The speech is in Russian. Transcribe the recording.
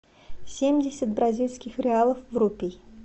семьдесят бразильских реалов в рупий